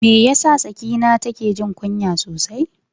Me yasa Sakina take jin kunya sosai?